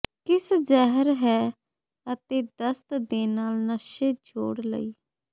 ਕਿਸ ਜ਼ਹਿਰ ਹੈ ਅਤੇ ਦਸਤ ਦੇ ਨਾਲ ਨਸ਼ੇ ਜੋੜ ਲਈ